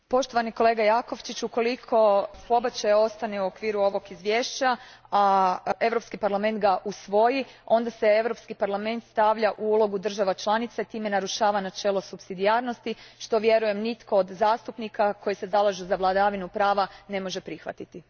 Gospodine Jakovčiću, ukoliko pobačaj ostane u okviru ovog izvješća, a Europski parlament ga usvoji, onda se Europski parlament stavlja u ulogu država članica i time narušava načelo supsidijarnosti, što vjerujem nitko od zastupnika koji se zalažu za vladavinu prava ne može prihvatiti.